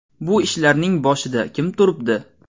Bu ishlarning boshida kim turibdi?